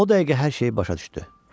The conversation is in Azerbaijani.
O dəqiqə hər şeyi başa düşdü.